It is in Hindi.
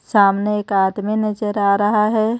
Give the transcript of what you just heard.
सामने एक आदमी नजर आ रहा है.